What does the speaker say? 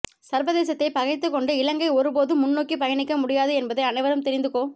சர்வதேசத்தை பகைத்துக்கொண்டு இலங்கை ஒருபோதும் முன்னோக்கி பயணிக்க முடியாது என்பதை அனைவரும் தெரிந்து கொ